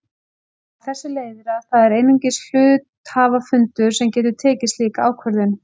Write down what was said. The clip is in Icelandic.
Af þessu leiðir að það er einungis hluthafafundur sem getur tekið slíka ákvörðun.